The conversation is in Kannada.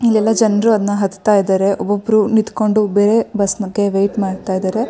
ಇಲ್ಲೆಲ್ಲಾ ಜನರು ಅದನ್ನ ಹತ್ತ ಇದ್ದಾರೆ. ಒಬ್ಬೊಬ್ರು ನಿಂಥಂಕೊಂಡು ಬೇರೆ ಬಸ್ ನಾ ವೇಟ್ ಮಾಡ್ತಿದ್ದಾರೆ.